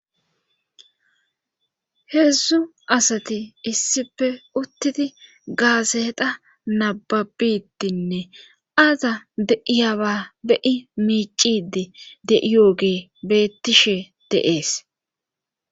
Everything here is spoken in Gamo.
heedzdzu asati issipe uttidi gaaseta nababitinne aza de'iyaba beyi miicidi de7iyooge beettishe de'ees